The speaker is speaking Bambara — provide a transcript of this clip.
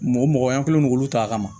Mɔgɔ mɔgɔ ye an kɛlen don k'olu ta a kama